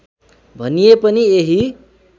भनिए पनि यही